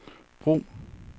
brug